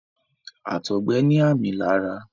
àtọgbẹ ní ààmì lára.